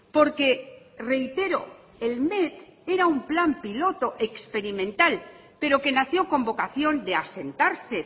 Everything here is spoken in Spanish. porque reitero el met era un plan piloto experimental pero que nació con vocación de asentarse